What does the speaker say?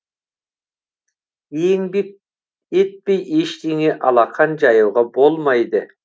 еңбек етпей ештеңе алақан жаюға болмайды